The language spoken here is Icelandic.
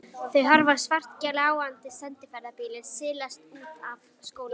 Þau horfa á svartgljáandi sendiferðabílinn silast út af skólalóðinni.